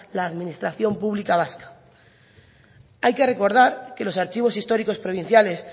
la administración pública vasca hay que recordar que los archivos históricos provinciales